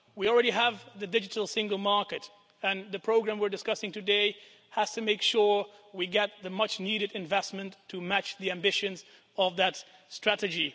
We already have the Digital Single Market, and the programme we're discussing today has to make sure we get the much needed investment to match the ambitions of that strategy.